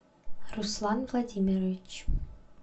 руслан владимирович